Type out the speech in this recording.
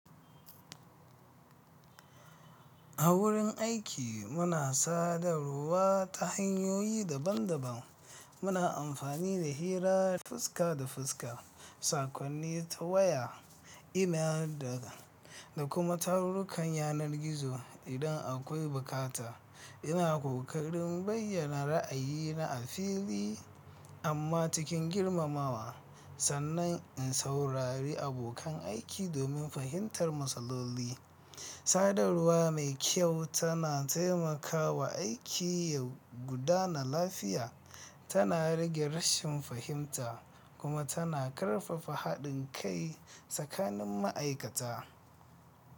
A wurin aiki, muna sadarwa ta hanyoyi daban-daban. Muna amfani da hira fuska da fuska, saƙonni ta waya, Email, da kuma tarurrukan yanar gizo idan akwai buƙata. Ina ƙoƙarin bayyana ra'ayina a fili amma cikin girmamawa, sannan in saurari abokan aiki domin fahimtar matsaloli. Sadarwa mai kyau tana taimakawa aiki ya gudana lafiya. Tana rage rashin fahimta kuma tana ƙarfafa haɗin kai tsakanin ma'aikata.